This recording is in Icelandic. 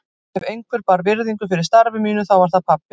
Ef einhver bar virðingu fyrir starfi mínu þá var það pabbi.